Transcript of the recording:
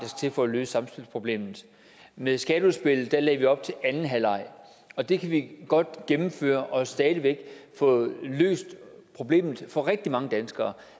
til for at løse samspilsproblemet med skatteudspillet lægger vi op til anden halvleg og det kan vi godt gennemføre og stadig væk få løst problemet for rigtig mange danskere